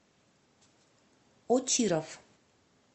очиров